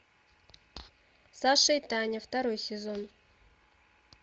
саша и таня второй сезон